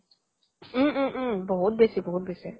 উম উম উম বহুত বেচি বহুত বেচি